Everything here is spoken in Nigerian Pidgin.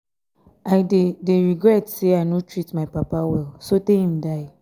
i dey dey regret say i no treat my papa well so tey im die.